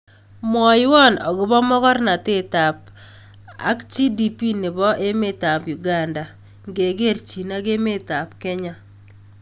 Mwawon ago po mogornatet ak g.d.p ne po emetap Uganda ngekerchin ak emetap Kenya